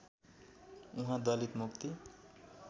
उहाँ दलित मुक्ति